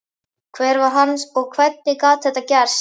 Hver var hann og hvernig gat þetta gerst?